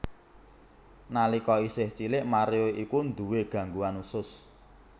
Nalika isih cilik Mario iku nduwé gangguan usus